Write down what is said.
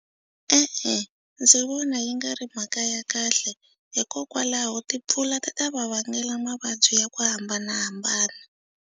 E-e, ndzi vona yi nga ri mhaka ya kahle hikokwalaho timpfula ti ta va vangela mavabyi ya ku hambanahambana.